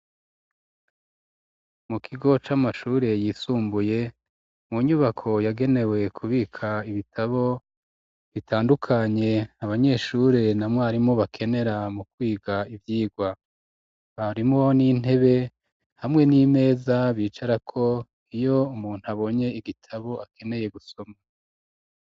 Mu kigo c'amashure yisumbuye mu nyubako yagenewe kubika ibitabo bitandukanye abanyeshure na mwarimo bakenera mu kwiga ivyigwa harimwo n'intebe hamwe n'imeza bicarako iyo umuntu abonye igitabo akeneye gusoma.